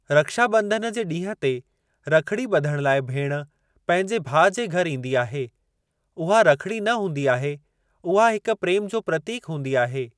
रक्षाबं॒धन जे ॾींहं ते रखिड़ी ब॒धणु लाइ भेण पंहिंजे भाउ जे घर ईंदी आहे। उहा रखिड़ी न हूंदी आहे, उहा हिकु प्रेम जो प्रतीक हूंदो आहे।